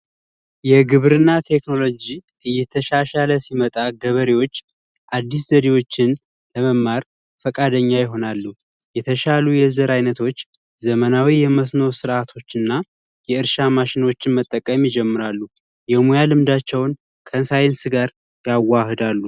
የግብርና ቴክኖሎጂ እየተሻሻለ ሲመጣ ገበሬዎች አዲስ ዘዴዎችን ለመማር ፈቃደኛ ይሆናሉ። የተሻሉ የዘር አይነቶች ዘመናዊ የመስኖ ስርዓቶች እና የእርሻ ማሽኖችን መጠቀም ይጀምራሉ። የሙያ ልምዳቸውን ከሳይንስ ጋር ያዋህዳሉ።